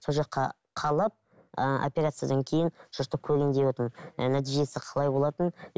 сол жаққа қалып ыыы операциядан кейін сол жақта көрейін девотырмын ы нәтижесі қалай болатынын